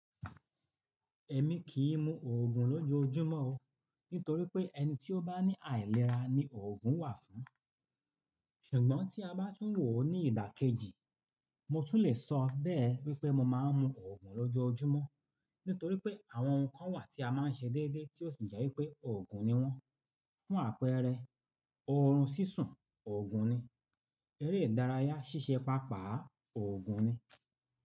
Ẹ̀mi kìí mu òògùn lójoójúmọ́ o, nítorí pé ẹni tí ó bá ní àìlera ni òògùn wà fún. Ṣùgbọ́n tí a bá tún wò ó ní ìdàkejì, mo tún le sọ bẹ́ẹ̀ wípé mo máa ń mu òògùn lójoójúmọ́. Nítorí pé àwọn nǹkan wà tí a máa ń ṣe déédéé tí ó sì jẹ́ wípé òògùn ni wọ́n. Fún àpẹẹrẹ, oorun sísun, òògùn ni; eré ìdárayá ṣíṣe pàápàá, òògùn ni.